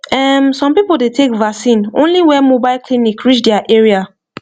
ehm some people dey take vaccine only when mobile clinic reach their area